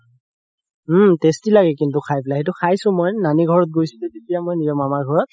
উম tasty লাগে কিন্তু খাই পেলাই সেইটো খাইছো মই, নানি ঘৰত গৈছিলো যেতিয়া মই মামা ঘৰত